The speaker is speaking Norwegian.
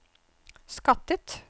skattet